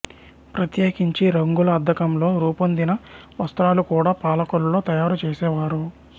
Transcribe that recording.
ప్రత్యేకించి రంగుల అద్దకంతో రూపొందిన వస్త్రాలు కూడా పాలకొల్లులో తయారుచేసేవారు